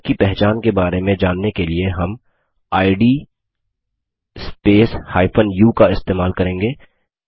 user की पहचान के बारे में जानने के लिए हम इद स्पेस u का इस्तेमाल करेंगे